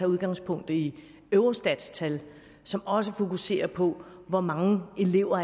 udgangspunkt i eurostats tal som også fokuserer på hvor mange elever